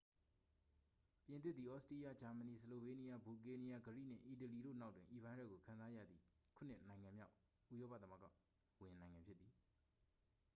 ပြင်သစ်သည် သြစတြီးယား ဂျာမဏီ ဆလိုဗေးနီးယား ဘူလ်ဂေးရီးယား ဂရိနှင့် အီတလီတို့နောက်တွင် ဤဗိုင်းရပ်ကို ခံစားရသည့် ခုနစ်နိုင်ငံမြောက် ဥရောပသမဂ္ဂဝင်နိုင်ငံ ဖြစ်သည်